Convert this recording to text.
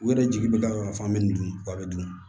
U yɛrɛ jigi bɛ da yɔrɔ min kan an bɛ dun k'a bɛ dun